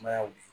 Mayanw ye